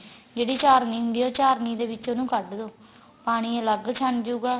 ਜਿਹੜੀ ਚਾਰਣੀ ਹੁੰਦੀ ਏ ਯਿਹ ਚਾਰਣੀ ਦੇ ਵਿਚ ਉਹਨੂੰ ਕੱਡ ਦੋ ਪਾਣੀ ਅੱਲਗ ਛਣ ਜੁ ਗਾ